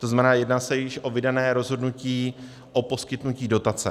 To znamená, jedná se již o vydané rozhodnutí o poskytnutí dotace.